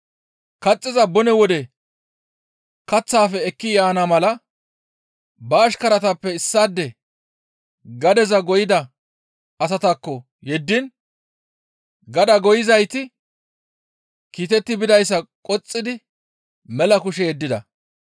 Kaxxiza bone wode kaththaafe ekki yaana mala ba ashkaratappe issaade gadeza goyida asataakko yeddiin gadaa goyizayti kiitetti bidayssa qoxxidi mela kushe yeddida.